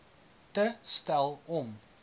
te stel om